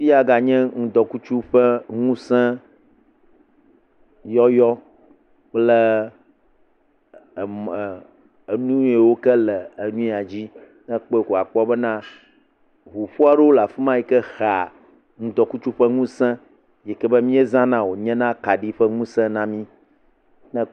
Fi ya ganye ŋdɔkutsu ƒe ŋusẽ yɔyɔ kple emɔ e enuyiwo ke le enu ya dzi. Ne ekpɔ koe akpɔ bena ŋuƒo aɖewo le afi ma yi ke hea ŋdɔkutsu ƒe ŋusẽ yike be miezana wonyea akaɖi ƒe ŋuse na mi.